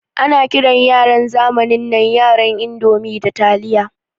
Ana kiran yaran zamanin nan yaran indomi da taliya.